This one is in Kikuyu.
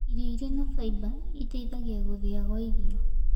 Irio ĩrĩ na faĩba ĩteĩthagĩa gũthĩa gwa irio